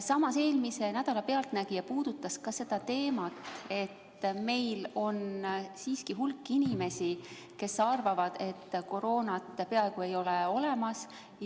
Samas eelmise nädala Pealtnägija puudutas ka seda teemat, et meil on hulk inimesi, kes arvavad, et koroonat peaaegu ei ole olemas.